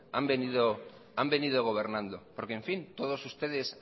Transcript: han venido gobernando porque todos ustedes